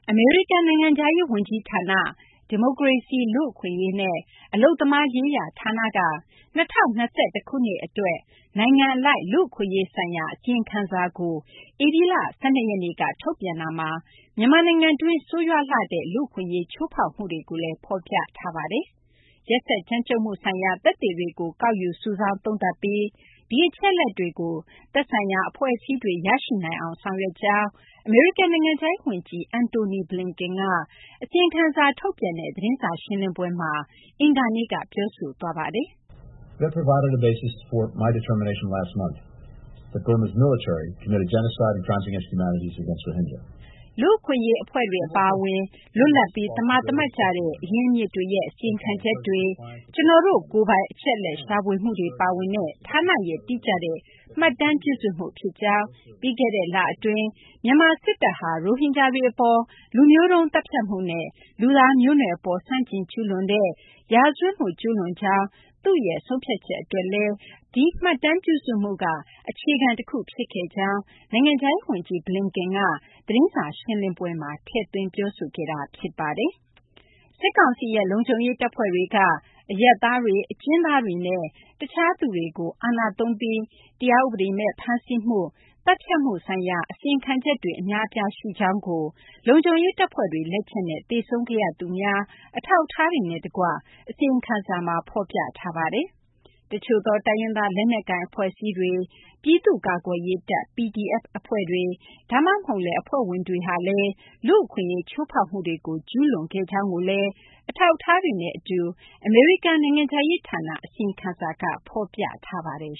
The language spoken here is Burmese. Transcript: အမေရိကန်နိုင်ငံခြားရေး ဝန်ကြီးဌာန ဒီမိုကရေစီ၊ လူ့အခွင့်အရေးနဲ့ အလုပ်သမားရေးရာ ဌာနက ၂၀၂၁ ခုနှစ် အတွက် နိုင်ငံအလိုက် လူ့အခွင့်အရေး ဆိုင်ရာ အစီရင်ခံစာကို ဧပြီလ ၁၂ ရက်နေ့က ထုတ်ပြန်တာမှာ မြန်မာနိုင်ငံတွင်း ဆိုးရွားလှတဲ့ လူ့အခွင့်အရေး ချိုးဖောက်မှုတွေကိုလည်း ဖော်ပြထားပါတယ်။ ရက်စက်ကြမ်းကြုတ်မှု ဆိုင်ရာ သက်သေတွေကို ကောက်ယူ စုဆောင်း သုံးသပ်ပြီး ဒီအချက်အလက်တွေကို သက်ဆိုင်ရာ အဖွဲ့အစည်းတွေ ရရှိနိုင်အောင် ဆောင်ရွက်ကြောင်း အမေရိကန် နိုင်ငံခြားရေး ဝန်ကြီး Antony Blinken က အစီရင်ခံစာ ထုတ်ပြန်တဲ့ သတင်းစာ ရှင်းလင်းပွဲမှာ အင်္ဂါနေ့က ပြောဆိုခဲ့တာ ဖြစ်ပါတယ်။ လူ့အခွင့်အရေး အဖွဲ့တွေ အပါအဝင် လွတ်လပ်ပြီး သမာသမတ်ကျတဲ့ အရင်းအမြစ်တွေရဲ့ အစီရင်ခံချက်တွေ၊ ကျနော်တို့ ကိုယ်ပိုင် အချက်အလက် ရှာဖွေမှုတွေ ပါဝင်တဲ့ ဌာနရဲ့ တိကျတဲ့ မှတ်တမ်းပြုစုမှု ဖြစ်ကြောင်း၊ ပြီးခဲ့တဲ့ လ အတွင်း မြန်မာ စစ်တပ်ဟာ ရိုဟင်ဂျာတွေ အပေါ် လူမျိုးတုန်း သတ်ဖြတ်မှုနဲ့ လူသားမျိုးနွယ် အပေါ် ဆန့်ကျင် ကျူးလွန်တဲ့ ရာဇဝတ်မှု ကျူးလွန်ကြောင်း သူ့ရဲ့ ဆုံးဖြတ်ချက် အတွက်လည်း ဒီမှတ်တမ်းပြုစုမှုက အခြေခံ တခု ဖြစ်ခဲ့ကြောင်း နိုင်ငံခြားရေး ဝန်ကြီး Blinken က သတင်းစာ ရှင်းလင်းပွဲမှာ ထည့်သွင်း ပြောဆိုခဲ့ပါတယ်။ စစ်ကောင်စီရဲ့ လုံခြုံရေး တပ်ဖွဲ့တွေက အရပ်သားတွေ၊ အကျဉ်းသားတွေနဲ့ တခြားသူတွေကို အာဏာသုံးပြီး တရားဥပဒေမဲ့ ဖမ်းဆီးမှု သတ်ဖြတ်မှု ဆိုင်ရာ အစီရင်ခံချက်တွေ အများအပြား ရှိကြောင်းကို လုံခြုံရေး တပ်ဖွဲ့တွေ လက်ချက်နဲ့ သေဆုံးခဲ့ရသူများ အထောက်အထားတွေနဲ့ တကွ အစီရင်ခံစာမှာ ဖော်ပြထားပါတယ်။ တချို့သော တိုင်းရင်းသား လက်နက်ကိုင် အဖွဲ့အစည်းတွေ၊ ပြည်သူ့ကာကွယ်ရေးတပ် PDF အဖွဲ့တွေ ဒါမှမဟုတ်လည်း အဖွဲ့ဝင်တွေဟာလည်း လူ့အခွင့်အရေး ချိုးဖောက်မှုတွေကို ကျူးလွန်ခဲ့ကြောင်းကိုလည်း အထောက်အထားတွေနဲ့ အတူ အမေရိကန် နိုင်ငံခြားရေး ဌာန အစီရင်ခံစာမှာ ဖော်ပြထားပါတယ်